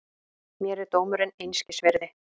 Mér er dómurinn einskis virði.